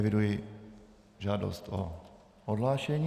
Eviduji žádost o odhlášení.